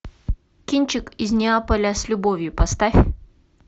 кинчик из неаполя с любовью поставь